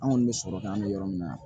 An kɔni bɛ sɔrɔ ka an bɛ yɔrɔ min na